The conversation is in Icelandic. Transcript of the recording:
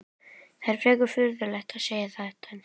Það er frekar furðulegt að segja þetta þá?